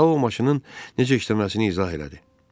Tau maşının necə işləməsini izah elədi.